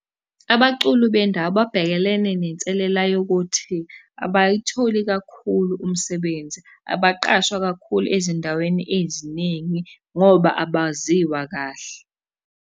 Abaculi bendawo babhekelene nenselela yokuthi abayitholi kakhulu umsebenzi abaqashwa kakhulu ezindaweni eziningi ngoba abaziwa kahle.